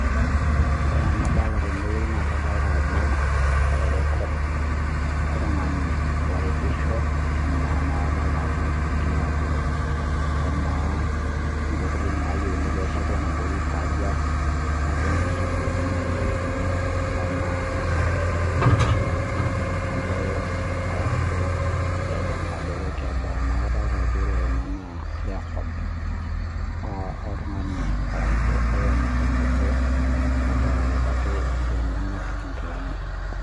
Ore enadolita naa Ajo record oltung'ani oripisho amu egero Ajo kemaa ntokitin nayieuni pee esheti ena toki emaa nkisunkunii nayieu kaja kemaa tee urefu embolos arashu tenkadoro naa kajo naa ore Kuna naa kadol Ajo level oltung'ani arashu ormurani obo ogira aripakj iltung'ana nkilani